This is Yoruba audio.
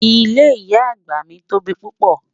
Ìlé ìyà agba mi tó bí pupọ́.